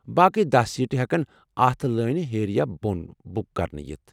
باقٕے داہ سیٖٹہٕ ہیكن اتھ لٲنہِ ہیٚرِ یا بوٚنہٕ بُک کرنہٕ یِتھ ۔